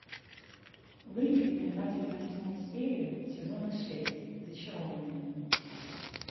выведи мне двадцать восьмую серию сезона шесть зачарованные